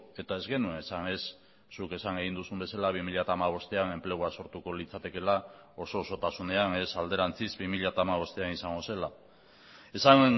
eta ez genuen esan ez zuk esan egin duzun bezala bi mila hamabostean enplegua sortuko litzatekeela oso osotasunean ez alderantziz bi mila hamabostean izango zela esan